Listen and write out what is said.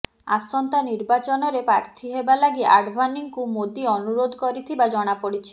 ଆସନ୍ତା ନିର୍ବାଚନରେ ପ୍ରାର୍ଥୀ ହେବାଲାଗି ଆଡ଼ଭାନୀଙ୍କୁ ମୋଦୀ ଅନୁରୋଧ କରିଥିବା ଜଣାପଡ଼ିଛି